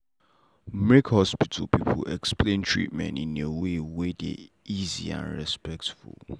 make hospital people explain treatment in in way wey dey easy and respectful.